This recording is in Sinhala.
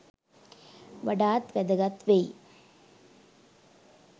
වඩාත් වැදගත් වෙයි.